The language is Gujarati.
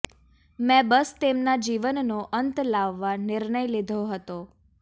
મેં બસ તેમનાં જીવનનો અંત લાવવા નિર્ણય લીધો હતો